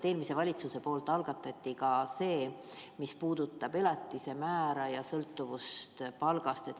Eelmine valitsus algatas ka selle, mis puudutab elatisemäära sõltuvust palgast.